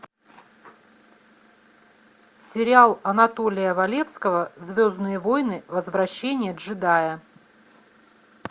сериал анатолия валевского звездные войны возвращение джедая